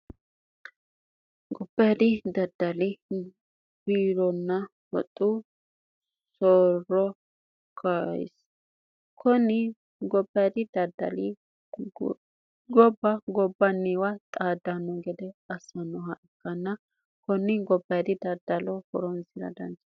gobbeeri daddali biironna hoxxu soorokaisi kunni gobbeeri daddali gobba gobbanniwa xaaddanno gede assannoha ikkanna kunni gobbeeri daddalo foronsira danjae